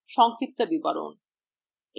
সংক্ষিপ্ত বিবরণ